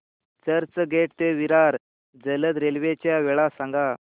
चर्चगेट ते विरार जलद रेल्वे च्या वेळा सांगा